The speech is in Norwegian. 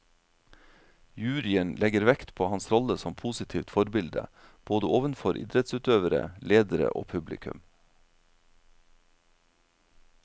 Juryen legger vekt på hans rolle som positivt forbilde, både ovenfor idrettsutøvere, ledere og publikum.